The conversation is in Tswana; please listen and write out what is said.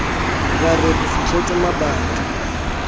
ra re re fitlhetse mabati